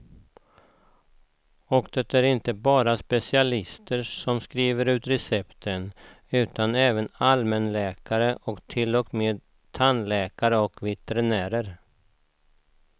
Och det är inte bara specialister som skrivit ut recepten, utan även allmänläkare och till och med tandläkare och veterinärer.